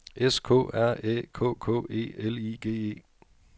S K R Æ K K E L I G E